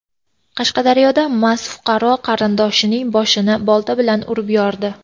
Qashqadaryoda mast fuqaro qarindoshining boshini bolta bilan urib yordi.